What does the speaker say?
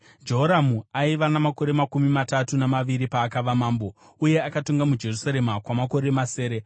Jehoramu aiva namakore makumi matatu namaviri paakava mambo, uye akatonga muJerusarema kwamakore masere.